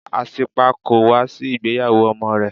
Asípa kò wá sí ìgbéyàwó ọmọ rẹ̀.